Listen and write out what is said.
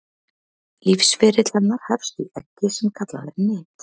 lífsferill hennar hefst í eggi sem kallað er nit